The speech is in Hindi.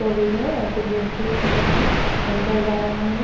वो भी है और कुछ व्यक्ति है जो है अंदर जा रहे हैं ।